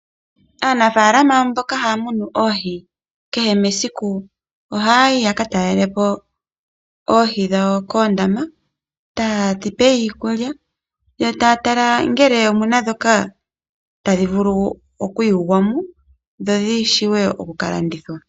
Aanafaalama mboka haya munu oohi kehe esiku ohaya talele po uundama wawo woohi taye dhi pe iikulya yo taya tala ngele omu na ndhoka tadhi vulu okuyulwa dho dhi vule oku ka landithwa.